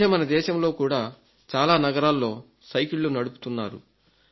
ఈ మధ్య మన దేశంలో కూడా చాలా నగరాల్లో సైకిళ్లు నడుపుతున్నారు